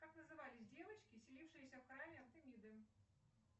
как назывались девочки селившиеся в храме артемиды